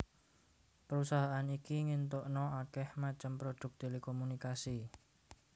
Perusahaan iki ngintukna akeh macem produk telekomunikasi